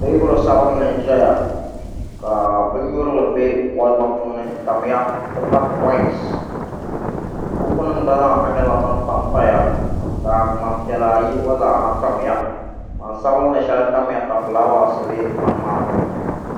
Teebuli sabinli n ʒɛya k bin nyurili bɛ kolba puuni n tamya n ti pahi ti pahi koins buku nim gna zaaha nyɛla din panpaya ka ŋmani piɛla ayi gba tamya ŋmani sabinli shɛli gba tamya ka fulaawaasi bɛ dinni